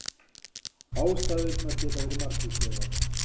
Ástæðurnar geta verið margvíslegar